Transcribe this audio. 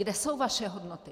Kde jsou vaše hodnoty?